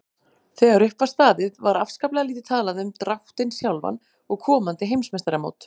Þegar upp var staðið var afskaplega lítið talað um dráttinn sjálfan og komandi heimsmeistaramót.